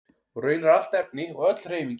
Og raunar allt efni og öll hreyfing í heiminum.